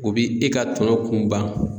O bi e ka tɔnɔ kun ban.